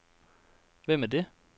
Hvem er det